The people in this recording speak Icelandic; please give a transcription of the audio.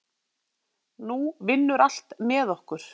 Nú vinnur allt með okkur.